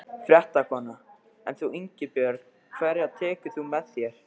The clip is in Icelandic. Fréttakona: En þú Ingibjörg, hverja tekur þú með þér?